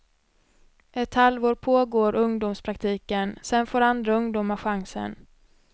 Ett halvår pågår ungdomspraktiken, sen får andra ungdomar chansen.